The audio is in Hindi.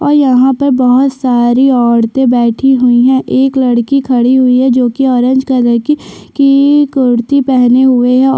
और यहाँ पर बहुत सारी औरते बैठी हुयी है एक लड़की खड़ी हुयी है जोकि ऑरेंज कलर की की कुर्ती पहने हुए है |--